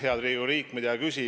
Head Riigikogu liikmed!